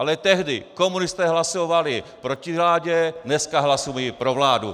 Ale tehdy komunisté hlasovali proti vládě, dneska hlasují pro vládu.